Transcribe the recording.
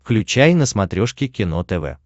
включай на смотрешке кино тв